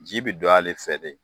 Ji be don ale fɛ de